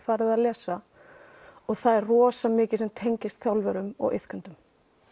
farið að lesa og það er rosa mikið sem tengist þjálfurum og iðkendum